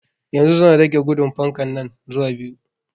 Yanzu zan rage gudun fankan nan zuwa biyu